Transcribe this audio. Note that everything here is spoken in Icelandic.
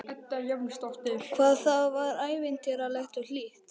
Hvað það var ævintýralegt og hlýtt.